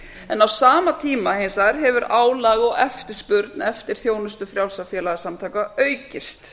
en á sama tíma hins vegar hefur álag og eftirspurn eftir þjónustu frjálsra félagasamtaka aukist